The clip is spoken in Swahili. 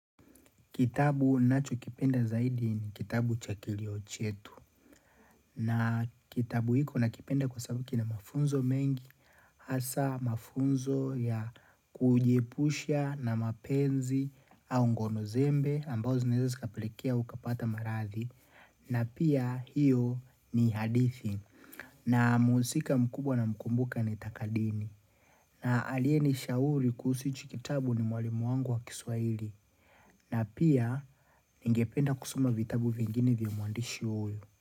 Kitabu ninachokipenda zaidi ni kitabu cha kilio chetu. Na kitabu hiko nakipenda kwa sababu kina mafunzo mengi. Hasa mafunzo ya kujiepusha na mapenzi au ngono zembe ambazo zinaeza zikapelekea ukapata marathi. Na pia hiyo ni hadithi. Na mhusika mkubwa namkumbuka ni takadini. Na aliyenishauri kuhusu hichi kitabu ni mwalimu wangu wa kiswaili. Na pia ningependa kusoma vitabu vingine vya mwandishi huyu.